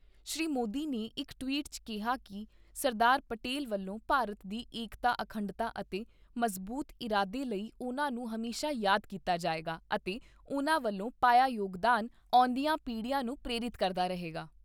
ਸ੍ਰੀ ਮੋਦੀ ਨੇ ਇਕ ਟਵੀਟ 'ਚ ਕਿਹਾ ਕਿ ਸਰਦਾਰ ਪਟੇਲ ਵੱਲੋਂ ਭਾਰਤ ਦੀ ਏਕਤਾ ਅਖੰਡਤਾ ਅਤੇ ਮਜ਼ਬੂਤ ਇਰਾਦੇ ਲਈ ਉਨ੍ਹਾਂ ਨੂੰ ਹਮੇਸ਼ਾ ਯਾਦ ਕੀਤਾ ਜਾਏਗਾ ਅਤੇ ਉਨ੍ਹਾਂ ਵੱਲੋਂ ਪਾਇਆ ਯੋਗਦਾਨ, ਆਉਂਦੀਆਂ ਪੀੜ੍ਹੀਆਂ ਨੂੰ ਪ੍ਰੇਰਿਤ ਕਰਦਾ ਰਹੇਗਾ।